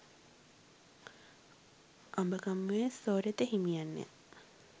අඹගමුවේ සෝරත හිමියන් ය.